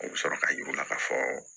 O bɛ sɔrɔ ka yir'u la k'a fɔ